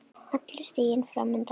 Allur stiginn fram undan.